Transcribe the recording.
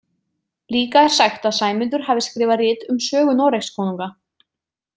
Líka er sagt að Sæmundur hafi skrifað rit um sögu Noregskonunga.